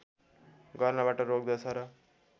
गर्नबाट रोक्दछ र